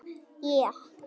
Við erum að tala um það!